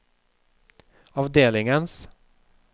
avdelingens